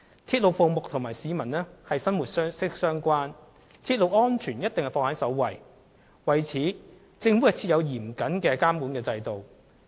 鐵路服務與市民生活息息相關，政府必定將鐵路安全放在首位，並已為此設有嚴謹的監管制度。